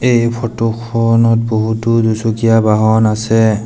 এই ফটো খনত বহুতো দুচকীয়া বাহন আছে।